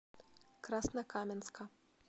краснокаменска